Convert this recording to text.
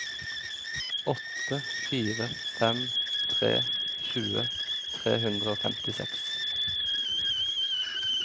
åtte fire fem tre tjue tre hundre og femtiseks